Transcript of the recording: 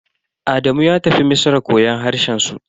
Adamu ya tafi Misra koyon harshen su.